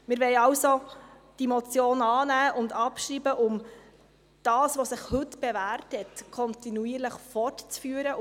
Wir wollen also diese Motion annehmen und abschreiben, um das, was sich heute bewährt hat, kontinuierlich fortzuführen.